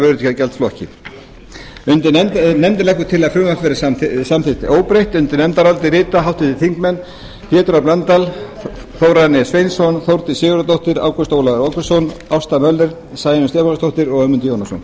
vöruverði hjá gjaldflokki nefndin leggur til að frumvarpið verði samþykkt óbreytt undir nefndarálitið rita háttvirtir þingmenn pétur h blöndal þórarinn e sveinsson þórdís sigurðardóttir ágúst ólafur ágústsson ásta möller sæunn stefánsdóttir og ögmundur jónasson